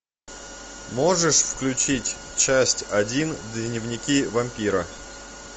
можешь включить часть один дневники вампира